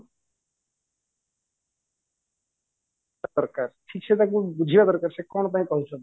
ଦରକାର ଠିକ ସେ ତାକୁ ବୁଝିବା ଦରକାର ସେ କଣ ପାଇଁ କହିଛନ୍ତି